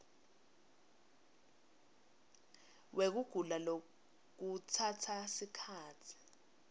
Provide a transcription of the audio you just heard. wekugula lokutsatsa sikhatsi